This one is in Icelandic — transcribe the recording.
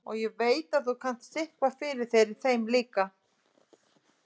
Og ég veit að þú kannt sitthvað fyrir þér í þeim efnum líka.